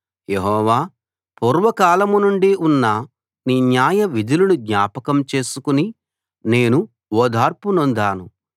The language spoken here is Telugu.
యెహోవా పూర్వకాలంనుండి ఉన్న నీ న్యాయ విధులను జ్ఞాపకం చేసుకుని నేను ఓదార్పు నొందాను